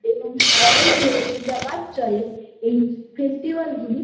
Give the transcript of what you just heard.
এবং সারাদিন ধরে পূজাপাঠ চলে এই ফেস্টিভ্যাল গুলি।